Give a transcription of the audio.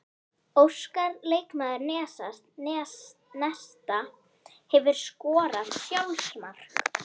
Óskar leikmaður Neista Hefurðu skorað sjálfsmark?